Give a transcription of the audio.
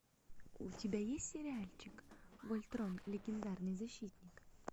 у тебя есть сериальчик вольтрон легендарный защитник